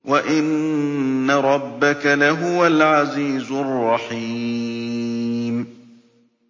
وَإِنَّ رَبَّكَ لَهُوَ الْعَزِيزُ الرَّحِيمُ